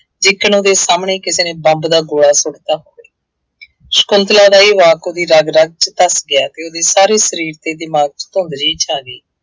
ਜਿਕਣ ਉਹਦੇ ਸਾਹਮਣੇ ਕਿਸੇ ਨੇ ਬੰਬ ਦਾ ਗੋਲਾ ਸੁੱਟਤਾ ਹੋੇਵੇ। ਸ਼ੰਕੁਤਲਾ ਦਾ ਇਹ ਵਾਕ ਉਹਦੀ ਰਗ ਰਗ ਚ ਧੱਸ ਗਿਆ ਅਤੇ ਉਹਦੇ ਸਾਰੇ ਸਰੀਰ ਅਤੇ ਦਿਮਾਗ ਚ ਭੂੰਦੜੀ ਛਾ ਗਈ।